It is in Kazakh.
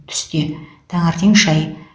түсте таңертең шай